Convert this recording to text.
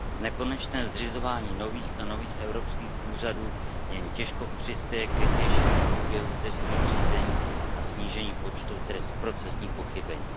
Nekonečné zřizování nových a nových evropských úřadů jen těžko přispěje k rychlejšímu průběhu trestních řízení a snížení počtu procesních pochybení.